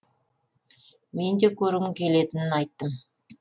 мен де көргім келетінін айттым